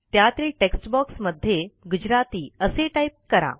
त्यातील textboxमध्ये गुजराती असे टाईप करा